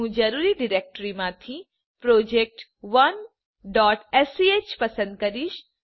હું જરૂરી ડિરેક્ટરીમાંથી project1સ્ક પસંદ કરીશ